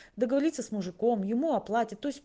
договориться с мужиком ему оплатит то есть